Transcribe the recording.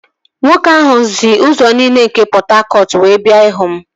Nwoke ahụ si ụzọ niile nke Pọt Hakọt wee bịa ịhụ m